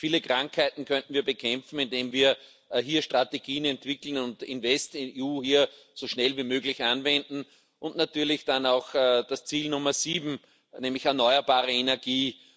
Viele Krankheiten könnten wir bekämpfen, indem wir hier Strategien entwickeln und InvestEU hier so schnell wie möglich anwenden und natürlich auch das Ziel Nummer 7, nämlich erneuerbare Energie.